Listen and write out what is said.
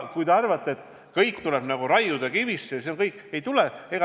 Kui te arvate, et kõik tuleb raiuda kivisse, siis kõik ei tule.